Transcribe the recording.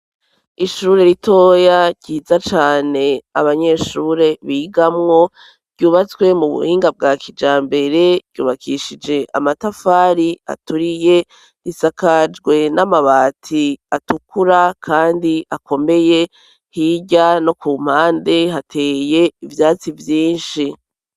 Ishure ritoya ryiza cane abanyeshure bigamwo ryubatswe mu buhinga bwa kija mbere ryubakishije amatafari aturiye risakajwe n'amabati atukura, kandi akomeye hirya no ku mpande hateye ivyati ibe vyinshi.